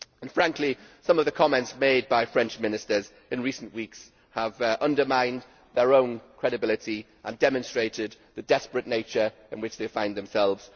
Frankly, some of the comments made by French Ministers in recent weeks have undermined their own credibility and demonstrated the desperate situation in which they find themselves.